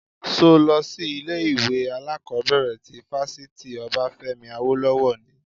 Ṣo lọ sí ilé ìwé alákọ̀bẹ̀rẹ̀ ti fáfitì Obafemi Awolowo ni?